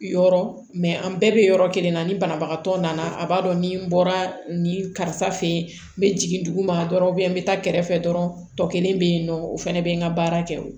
Yɔrɔ mɛ an bɛɛ bɛ yɔrɔ kelen na ni banabagatɔ nana a b'a dɔn ni bɔra nin karisa fɛ yen n bɛ jigin duguma dɔrɔn n bɛ taa kɛrɛfɛ dɔrɔn tɔ kelen bɛ yen nɔ o fana bɛ n ka baara kɛ o